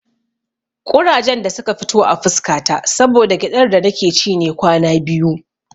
Ƙurajen da suka fito a fuska ta saboda gyaɗar da nake ci ne kwana biyu.